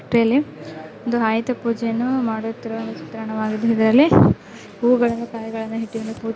ಒಂದು ಆಯುಧ ಪೂಜೆಯನ್ನು ಮಾಡುತ್ತಿರುವ ಒಂದು ಚಿತ್ರಣವಾಗಿದೆ ಇದ್ರಲ್ಲಿ ಹೂವುಗಳನ್ನು ಕಾಯಿಗಳನ್ನು ಇತ್ತು --